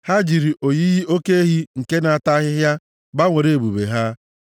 Ha jiri oyiyi oke ehi nke na-ata ahịhịa gbanwere Ebube ha.